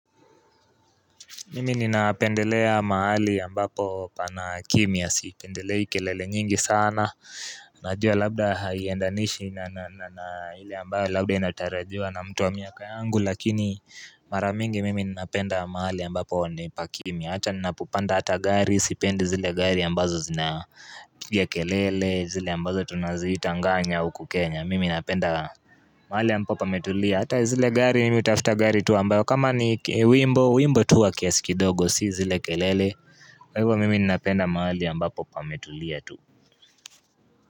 Mimi ninaependelea mahali ambapo pana kimya, sipendelei kelele nyingi sana Najua labda haiendanishi na ile ambayo, labda inatarajiwa na mtu wa miaka angu Lakini maramingi mimi ninaependa mahali ambapo ni pa kimya Hata nina popanda hata gari, sipendi zile gari ambazo zina piga kelele zile ambazo tunaziita nganya uku Kenya Mimi ninapenda mahali ambapo pametulia Hata zile gari nimi utafuta gari tu ambayo kama ni wimbo, wimbo tuwa kiasikidogo sizi lekelele Kwa hivyo mimi ninapenda mahali ambapo pametulia tu.